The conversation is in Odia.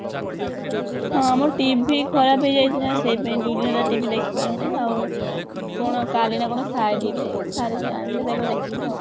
ହଁ ଆମ TV ଖରାପ ହେଇଯାଇଥିଲା ସେଇପାଇଁ ଦୁଇଦିନ ହେଲା TV ଦେଖି ପାରିନାହିଁ ଆଉ କଣ କାଲି ନା କଣ ସାରିବେ ସାରିକି ଆଣିଲେ ଯାଇକି ମୁ ଦେଖିବି ଆଉ